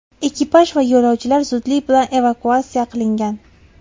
Ekipaj va yo‘lovchilar zudlik bilan evakuatsiya qilingan.